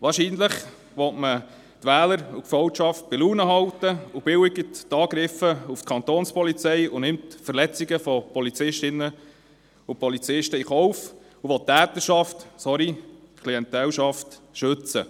Wahrscheinlich will man Wähler und Gefolgschaft bei Laune halten, billigt die Angriffe auf die Kantonspolizei Bern (Kapo) und nimmt Verletzungen von Polizistinnen und Polizisten in Kauf und will die Täterschaft – sorry, die Klientel – schützen.